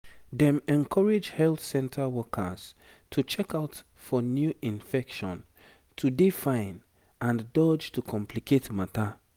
dem encourage health center workers to check out for new infection to dey fine and dodge to complicate matter